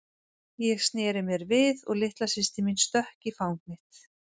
Ég sneri mér við og litla systir mín stökk í fang mitt.